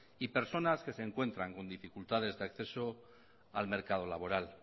y personas que se encuentran con dificultades de acceso al mercado laboral